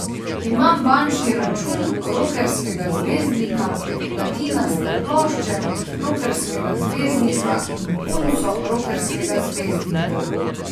Imam bančni račun rokerskega zvezdnika, platinaste plošče rokerskega zvezdnika in punco rokerskega zvezdnika.